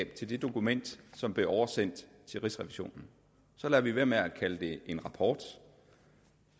til det dokument som blev oversendt til rigsrevisionen så lader vi være med at kalde det en rapport